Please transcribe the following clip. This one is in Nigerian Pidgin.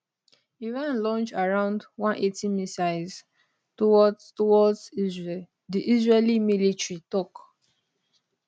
iran launch around 180 missiles towards towards israel di israeli military tok